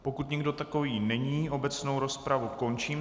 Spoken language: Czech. Pokud nikdo takový není, obecnou rozpravu končím.